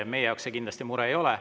Meie jaoks see kindlasti mure ei ole.